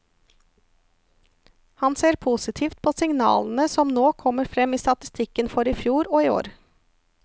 Han ser positivt på signalene som nå kommer frem i statistikken for i fjor og i år.